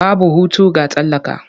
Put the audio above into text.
Babu hutu ga talaka.